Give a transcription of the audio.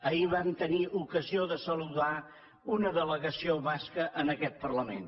ahir vam tenir ocasió de saludar una delegació basca en aquest parlament